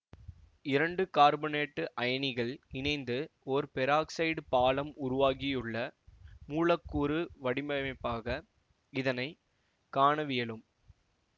இரண்டு கார்பனேட்டு அயனிகள் இணைந்து ஒரு பெராக்சைடு பாலம் உருவாகியுள்ள மூலக்கூறு வடிவமைப்பாக இதனை காணவியலும்